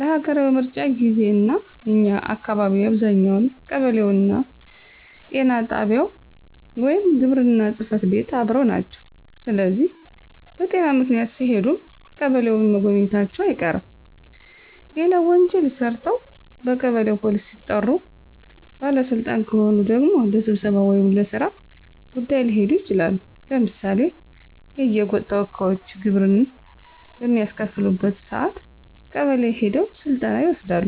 ለሀገራዊ ምርጫ ጊዜ፣ እና እኛ አካባቢ አብዛኛው ቀበሌውና ጤና ጣቢያው ወይም ግብርና ጽፈት ቤት አብረው ናቸው ስለዚህ በጤና ምክንያት ሲሄዱም ቀበሌውን መጎብኘታቸው አይቀርም። ሌላው ወንጀል ሰርተው በቀበሌ ፖሊስ ሲጠሩ፣ ባለ ስልጣን ከሆኑ ደግሞ ለስብሰባ ወይም ለስራ ጉዳይ ሊሄዱ ይችላሉ። ለምሳሌ የየጎጥ ተወካዮች ግብር በሚያስከፍሉበት ሰአት ቀበሌ ሄደው ስልጠና ይወስዳሉ።